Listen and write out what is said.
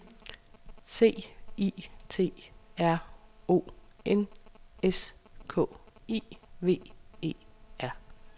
C I T R O N S K I V E R